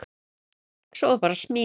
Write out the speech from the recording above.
Svo var bara smíðað.